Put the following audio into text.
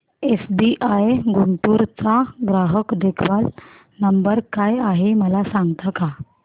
SBI Guntur चा ग्राहक देखभाल नंबर काय आहे मला सांगता का